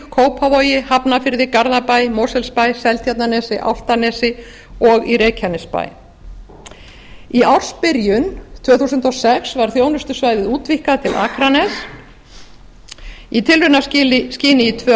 kópavogi hafnarfirði garðabæ mosfellsbæ seltjarnarnesi álftanesi og í reykjanesbæ í ársbyrjun tvö þúsund og sex var þjónustusvæðið útvíkkað til akraness í tilraunaskyni í tvö